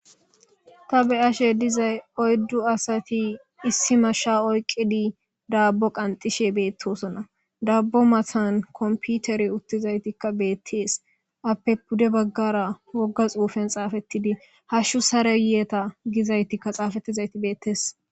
ta be ashe dizay oyddu asati issi mashsha oyqidi daabbo qanxishe beettosona dabbo mathan komputeri uttizaytikka beettees appe pude baggara wogga xuufen xaafettidi hashshu sareyeeta gizaytikka xaafettizayti beettees